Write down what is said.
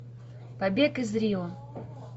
побег из рио